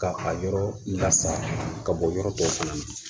Ka a yɔrɔ lasa ka bɔ yɔrɔ dɔw fana na